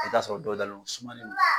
I bi t'a sɔrɔ dɔw dalen do u sumalen no